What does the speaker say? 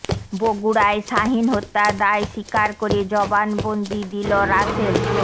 বগুড়ায় শাহীন হত্যা দায় স্বীকার করে জবানবন্দি দিল রাসেল